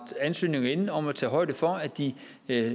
ansøgninger inde om at tage højde for at de